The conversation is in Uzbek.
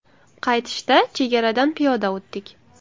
Qaytishda chegaradan piyoda o‘tdik.